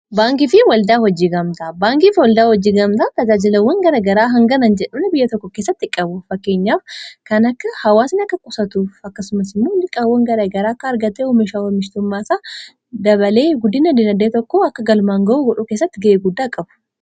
baankiifi waldaa hojiigamtaa baankiif waldaa hojiigamtaa tajaajilawwan gara garaa hangana jedhun biyya tokko keessatti qabu fakkeenyaaf kan akka hawaasni akka qusatuf akkasumasin moonliqqaawwan gara garaa akka argatee homsha homishtummaasaa dabalee gu2 1 akka galmaan ga'uu wodhuu eessatti ga’ee guddaa qabu